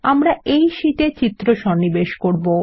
আমরা এই শীটে চিত্র সন্নিবেশ করব